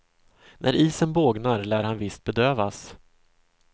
När isen bågnar lär han visst bedövas.